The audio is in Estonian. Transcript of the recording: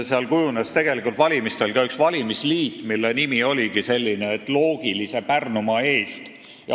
Seal kujunes valimistel valimisliit, mille nimi oli Loogiline Pärnumaa.